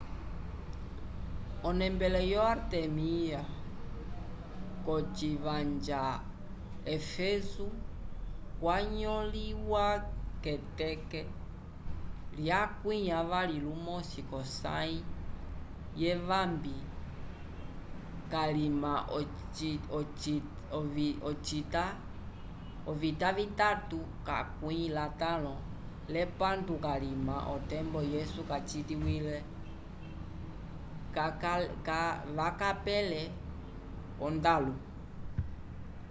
onembele yo artemya cocivanja éfeso cwanyoliwa keteke lyakwi avali lumosi cosaym evambi calima ocita vitatu lakwi atalõ lepandu calima otempo yesu kacitiwile vakapele o ndalu